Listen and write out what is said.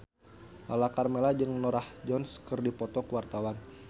Lala Karmela jeung Norah Jones keur dipoto ku wartawan